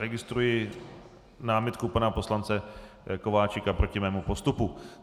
Registruji námitku pana poslance Kováčika proti mému postupu.